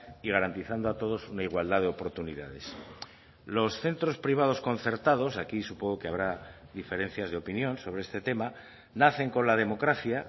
y garantizando a todos una igualdad de oportunidades los centros privados concertados aquí supongo que habrá diferencias de opinión sobre este tema nacen con la democracia